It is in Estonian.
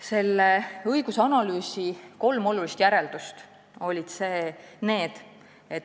Selle õigusanalüüsi kolm olulist järeldust olid järgmised.